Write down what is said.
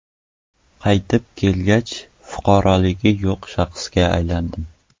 Qaytib kelgach, fuqaroligi yo‘q shaxsga aylandim.